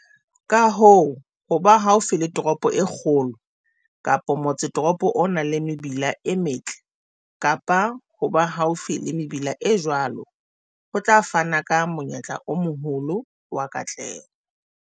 Ka hoo, ho ba haufi le toropo e kgolo kapa motsetoropo o nang le mebila e metle kapa ho ba haufi le mebila e jwalo, ho tla fana ka monyetla o moholo wa katleho.